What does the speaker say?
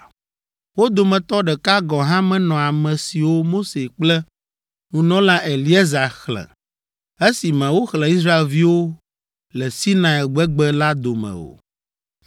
Wo dometɔ ɖeka gɔ̃ hã menɔ ame siwo Mose kple nunɔla Eleazar xlẽ esime woxlẽ Israelviwo le Sinai gbegbe la dome o.